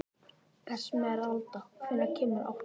Esmeralda, hvenær kemur áttan?